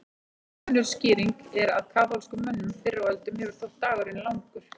Önnur skýring er að kaþólskum mönnum fyrr á öldum hefur þótt dagurinn langur.